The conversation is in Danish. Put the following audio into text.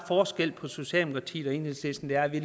forskel på socialdemokratiet og enhedslisten at vi